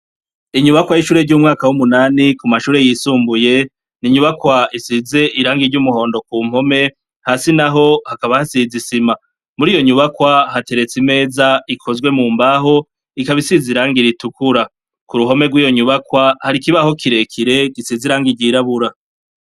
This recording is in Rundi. Inyubakwa y'ishure ry'umwaka w'umunani Ku mashure yisumbuye, ni inyubakwa isize irangi ry'umuhondo ku mpome, hasi naho hakaba hasize isima. Muriyo nyubakwa hateretse imeza ikozwe mu mbaho ikaba isize irangi ritukura, kuruhome rw'iyo nyubakwa har'ikibaho kirekire gisize irangi ry'irabura.